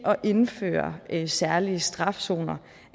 at indføre særlige strafzoner